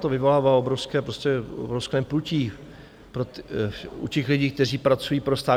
To vyvolává obrovské, prostě obrovské pnutí u těch lidí, kteří pracují pro stát.